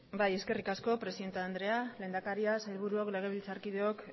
eskerrik asko presidente andrea lehendakaria sailburuok legebiltzarkideok